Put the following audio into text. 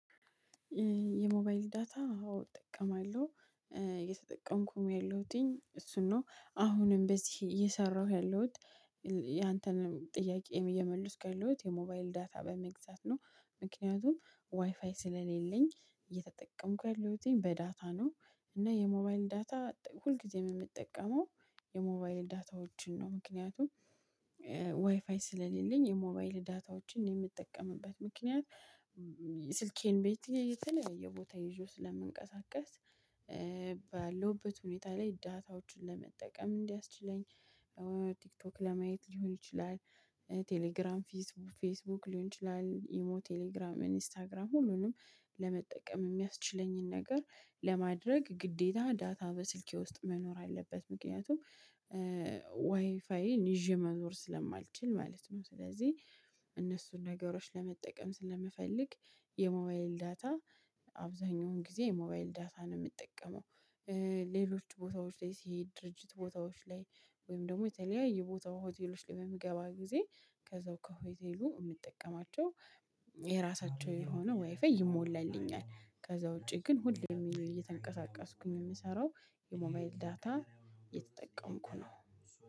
የሞባይል ዳታ አዎ እጠቀማለሁ የተጠቀምኩኝ ያለሁትኝ እሱን ነው አሁንም በዚህ እየሰራሁ ያለሁት። ያንተንም ጥያቄም እየመለስኩ ያለሁት የሞባይል ዳታ በመግዛት ነው ምክንያቱም ዋይፋይ ስለሌለኝ እየተጠቀምኩ ያለሁትኝ በዳታ ነው። እና የሞባይል ዳታ ሁልጊዜም የምጠቀመው የሞባይል ዳታዎችን ነው። ምክንያቱም ዋይፋይ ስለሌለኝ የሞባይል ዳታዎችን የምጠቀምበት ምክንያት ስልኬን በየትኛው የተለየ ቦታ ይዤው ስለምንቀሳቀስ። ባለሁበት ሁኔታ ላይ ዳታዎችን ለመጠቀም እንዲያስችለኝ። ቲክቶክ ለማየት ሊሆን ይችላል። ቴሌግራም ፌስቡክ ሊሆን ይችላል ኢሞ ቴሌግራም ኢንስታግራም ሁሉንም ለመጠቀም የሚያስችለኝን ነገር ለማድረግ ግዴታ ዳታ በስልኬ ውስጥ መኖር አለበት። ምክንያቱም ዋይፋይን ይዤ መኖር ስለማልችል ማለት ነው። ስለዚህ እነሱን ነገሮች ለመጠቀም ስለምፈልግ የሞባይል ዳታ አብዛኛውን ጊዜ የሞባይል ዳታ ነው የምጠቀመው። ሌሎች ቦታዎች ላይ ሲሄድ ድርጅት ቦታዎች ላይ ወይም ደግሞ የተለያየ ቦታው ሆቴሎች ላይ በምገባ ጊዜ ከዛው ከሆቴሉ የምጠቀማቸው የራሳቸው የሆነ ዋይፋይ ይሞላልኛል። ከዛ ውጪ ግን ሁሌ የሚሉ እየተንቀሳቀስኩኝ የምሰራው የሞባይል ዳታ የተጠቀምኩ ነው